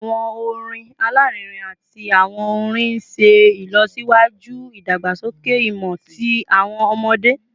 Awọn orin alarinrin ati awọn orin n ṣe ilọsiwaju idagbasoke imọ ti awọn ọmọde